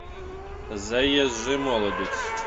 заезжий молодец